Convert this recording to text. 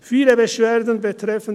Viele Beschwerden betreffend